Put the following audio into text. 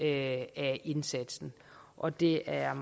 af indsatsen og det er